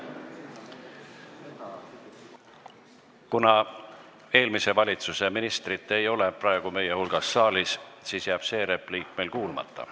Kuna eelmise valitsuse ministrit ei ole praegu siin saalis meie hulgas, siis jääb meil tema repliik kuulmata.